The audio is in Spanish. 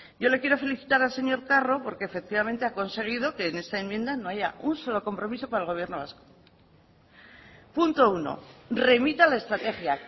yo le quiero felicitar al señor carro porque efectivamente ha conseguido que en esta enmienda no haya un solo compromiso para el gobierno vasco punto uno remita la estrategia